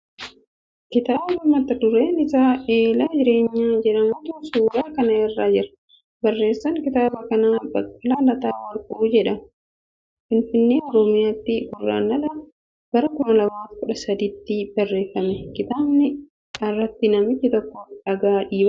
Kitaaba mata dureen isaa Eela Jireenyaa jedhamutu suura kana irra jira. Barreessaan kitaaba kanaa Baqqalaa Lataa Warquu jedhama. Finfinnee, Oromiyaatti guraandhala bara 2013 tti barreeffame. Kitaaba irratti namichi tokko dhagaa dhiibaa jira.